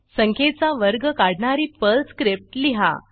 संख्येचा वर्ग काढणारी पर्ल स्क्रिप्ट लिहा